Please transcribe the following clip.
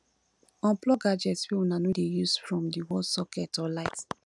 unplug gadgets wey una no dey use from di wall socket or light